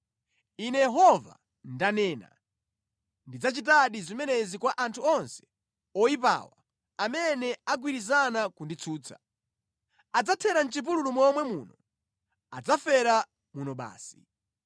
Ine Yehova, ndanena, ndidzachitadi zimenezi kwa anthu onse oyipawa, amene agwirizana kunditsutsa. Adzathera mʼchipululu momwe muno, adzafera muno basi.”